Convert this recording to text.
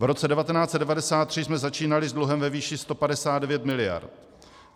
V roce 1993 jsme začínali s dluhem ve výši 159 mld.